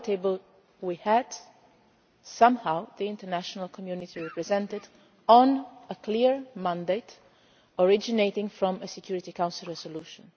Around that table we had, somehow, the international community represented on a clear mandate originating from a Security Council resolution.